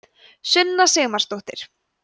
sunna sigmarsdóttir